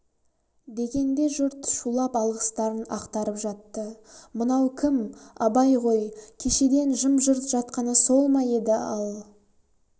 дегенде жұрт шулап алғыстарын ақтарып жатты мынау кім абайғой кешеден жым-жырт жатқаны сол ма еді ал